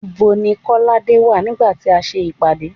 Nibo ni kolade wà nígbà tí a ń ṣe ìpàdé